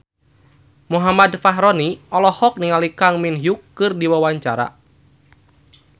Muhammad Fachroni olohok ningali Kang Min Hyuk keur diwawancara